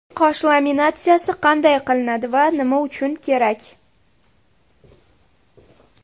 Qosh laminatsiyasi qanday qilinadi va nima uchun kerak?